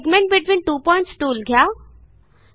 segment between two points tool घ्या